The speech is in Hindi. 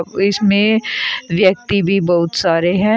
ओ इसमें व्यक्ति भी बहुत सारे हैं।